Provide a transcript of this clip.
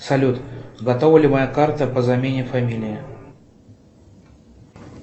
салют готова ли моя карта по замене фамилии